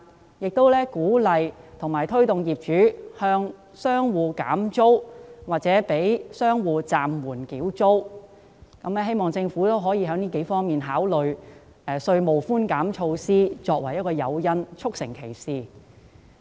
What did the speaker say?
我亦鼓勵及推動業主向商戶減租或暫緩商戶繳租，希望政府可考慮以稅務寬減措施作為誘因，促成其事。